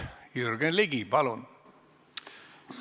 Jürgen Ligi, palun!